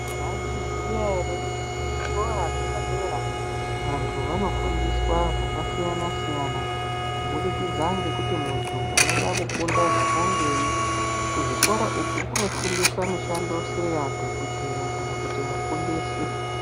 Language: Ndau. Mwayizviziya ere kuti kuzvikora zvepadera, vantu vanofundiswa zvakasiyana-siyana kubudikidza ngekuti muntu unoda kufunda zvakangeyi, kuzvikora uku kunofundiswa mishando seya dhokodheya kana kuti vafundisi.